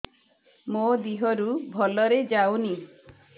ମୋ ଦିହରୁ ଭଲରେ ଯାଉନି